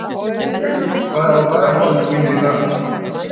Gaui, hvað er á dagatalinu mínu í dag?